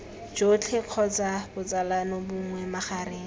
jotlhe kgotsa botsalano bongwe magareng